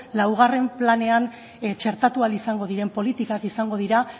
laugarren planean txertatu ahal izango diren politika izango dira